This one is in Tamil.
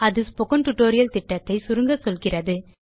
இது ஸ்போக்கன் டியூட்டோரியல் திட்டத்தை சுருங்க சொல்கிறது